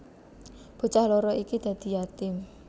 Bocah loro iki dadi yatim